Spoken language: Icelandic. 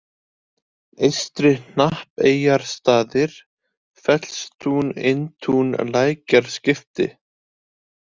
Eystri-Hnappeyjarstaðir, Fellstún, Inntún, Lækjarskipti